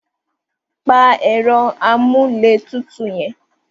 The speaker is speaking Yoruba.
Pa ẹ̀rọ amúlétutù yẹn.